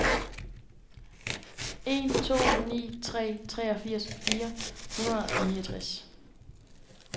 en to ni tre treogfirs fire hundrede og niogtres